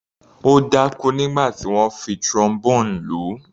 Ó dákú nígbà tí wọ́n fi Trombone lù ú.